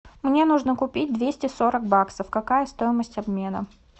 мне нужно купить двести сорок баксов какая стоимость обмена